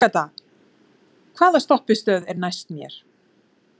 Agatha, hvaða stoppistöð er næst mér?